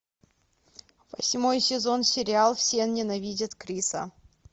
восьмой сезон сериал все ненавидят криса